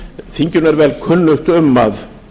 þinginu er vel kunnugt um að